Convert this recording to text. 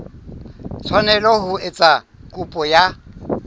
tshwanela ho etsa kopo ya